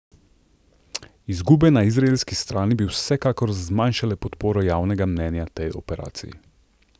Izgube na izraelski strani bi vsekakor zmanjšale podporo javnega mnenja tej operaciji.